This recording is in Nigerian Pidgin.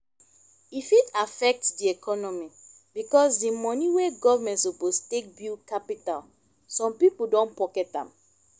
e fit affect di economy because di money wey government suppose take build capital some pipo don pocket am